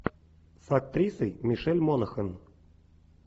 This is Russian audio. с актрисой мишель монахэн